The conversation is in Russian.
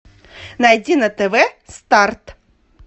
найди на тв старт